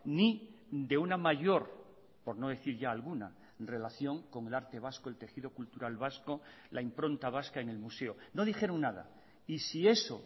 ni de una mayor por no decir ya alguna relación con el arte vasco el tejido cultural vasco la impronta vasca en el museo no dijeron nada y si eso